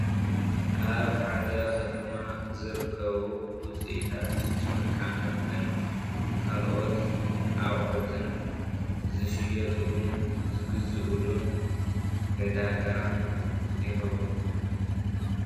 ኣብ ሓደ ከተማ ዝርከቡ ውፅኢታት ጨርቃ መርቅን ካልኦት ኣቕሑትን ዝሽየጥሉን ዝግዝኡልን ዕዳጋ ይኸውን፡፡